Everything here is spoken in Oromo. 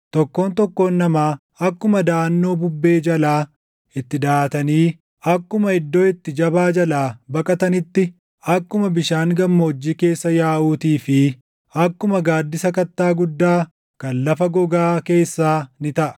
Tokkoon tokkoon namaa akkuma daʼannoo bubbee jalaa itti daʼatanii, akkuma iddoo itti jabaa jalaa baqataniitti, akkuma bishaan gammoojjii keessa yaaʼuutii fi akkuma gaaddisa kattaa guddaa kan lafa gogaa keessaa ni taʼa.